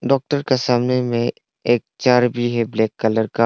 Doctor के सामने में एक चेयर भी है ब्लैक कलर का।